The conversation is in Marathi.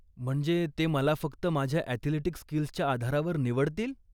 म्हणजे ते मला फक्त माझ्या अॅथलेटिक स्कील्सच्या आधारावर निवडतील?